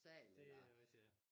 Det rigtigt ja